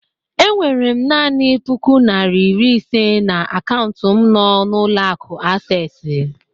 Enwere m nani puku nari iri ise na akaụntụ m n'ụlọ akụ Asesi